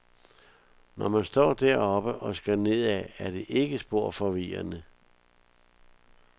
Når man står deroppe og skal nedad, er det ikke spor forvirrende.